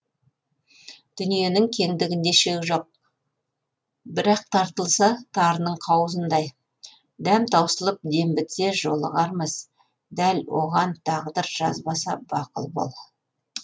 дүниенің кеңдігінде шек жоқ бірақ тарылса тарының қауызындай дәм таусылып дем бітсе жолығармыз дәл оған тағдыр жазбаса бақұл бол